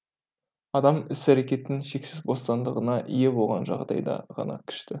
адам іс әрекеттің шексіз бостандығына ие болған жағдайда ғана күшті